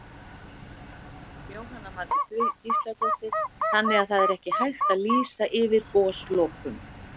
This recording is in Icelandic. Jóhanna Margrét Gísladóttir: Þannig að það er ekki hægt að lýsa yfir goslokum?